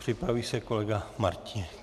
Připraví se kolega Martínek.